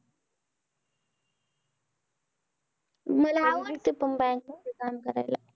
मला आवडते पण bank मध्ये काम करायला.